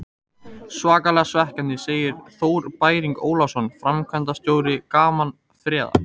Svakalega svekkjandi, segir Þór Bæring Ólafsson, framkvæmdastjóri Gaman Ferða.